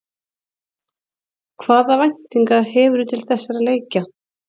Hvaða væntingar hefurðu til þessara leikja?